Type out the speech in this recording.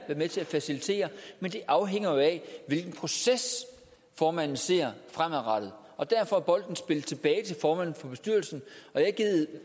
med til at facilitere men det afhænger jo af hvilken proces formanden ser fremadrettet og derfor er bolden spillet tilbage til formanden for bestyrelsen